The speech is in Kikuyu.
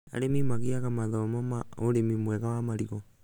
Arĩmi nĩ magĩaga mathomo ma ũrĩmi mwega wa marigũ